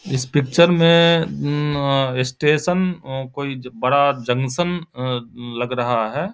इस पिक्चर में ए स्टेशन कोई बड़ा जंक्शन उम्म लग रहा है।